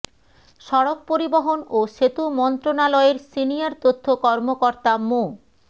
সড়ক পরিবহন ও সেতু মন্ত্রণালয়ের সিনিয়র তথ্য কর্মকর্তা মো